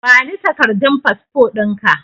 Bani takardun fasfo ɗinka